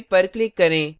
save पर click करें